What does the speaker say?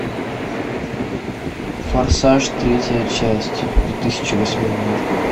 форсаж третья часть две тысячи восьмой год